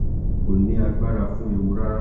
ko ni agbara fun ewu rara.